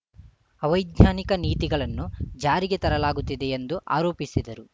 ಅವೈಜ್ಞಾನಿಕ ನೀತಿಗಳನ್ನು ಜಾರಿಗೆ ತರಲಾಗುತ್ತಿದೆ ಎಂದು ಆರೋಪಿಸಿದರು